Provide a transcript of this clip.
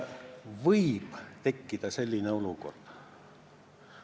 Võib tekkida selline olukord.